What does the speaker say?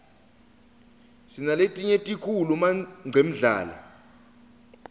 sinaletinye tikhulu manqemdlala